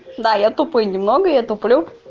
да я тупо немного я туплю